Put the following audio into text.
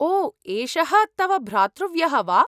ओ एषः तव भ्रातृव्यः वा?